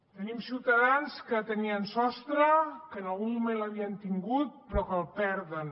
tenim ciutadans que tenien sostre que en algun moment l’havien tingut però que el perden